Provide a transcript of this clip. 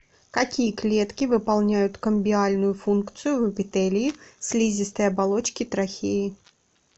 какие клетки выполняют камбиальную функцию в эпителии слизистой оболочки трахеи